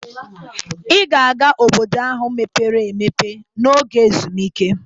Ị ga-aga Obodo ahụ mepere emepe n'oge ezumike.